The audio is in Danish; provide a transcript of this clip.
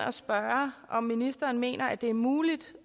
om ministeren mener at det er muligt